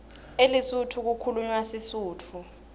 elesotho kukhulunywa sisutfu